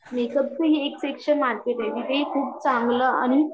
make-up हि special market आहे इकडे खूप चांगला आणि